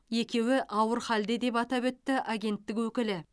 екеуі ауыр халде деп атап өтті агенттік өкілі